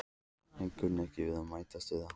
en kunni ekki við að metast um það.